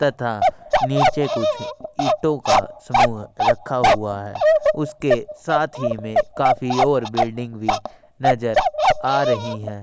तथा नीचे कुछ ईटों का समूह रखा हुआ है उसके साथ ही में काफी और बिल्डिंग भी नज़र आ रही है।